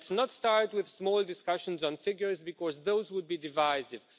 Let's not start with small discussions on figures, because those would be divisive.